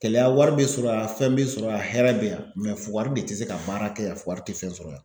Kɛlɛya wari bɛ sɔrɔ yan fɛn bɛ sɔrɔ yan hɛrɛ bɛ yan fugari de tɛ se ka baara kɛ yan fugari tɛ fɛn sɔrɔ yan.